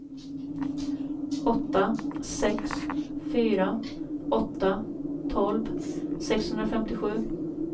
åtta sex fyra åtta tolv sexhundrafemtiosju